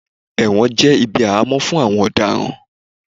ẹwọ́n jé ibí ahamo fún àwọn Ọdaran.